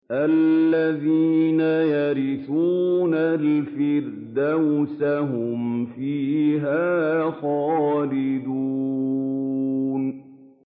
الَّذِينَ يَرِثُونَ الْفِرْدَوْسَ هُمْ فِيهَا خَالِدُونَ